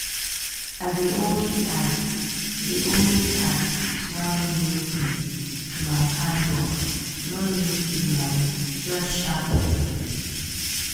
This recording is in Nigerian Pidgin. i dey always add dey always add small new thing to my handwork no need big money just sharp brain.